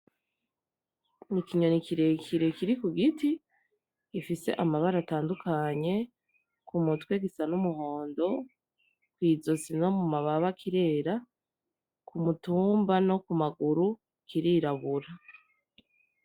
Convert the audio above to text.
Ni ikinyoni kirekire kiri ku giti, gifise amabara atandukanye, ku mutwe gisa n'umuhondo, kw'izosi no mu mababa kirera, k'umutumba no ku maguru kirirabura.